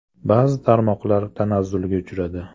Ba’zi tarmoqlar tanazzulga uchradi.